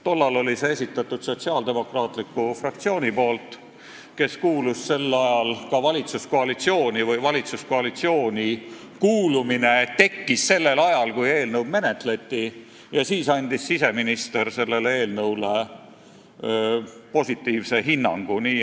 Tol ajal oli selle esitanud Sotsiaaldemokraatliku Erakonna fraktsioon, see erakond kuulus sel ajal ka valitsuskoalitsiooni või valitsuskoalitsiooni kuulumine tekkis sellel ajal, kui eelnõu menetleti, ja siis andis siseminister sellele eelnõule positiivse hinnangu.